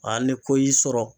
Ali ni ko y'i sɔrɔ